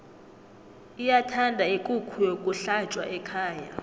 iyathanda ikukhu yokuhlatjwa ekhaya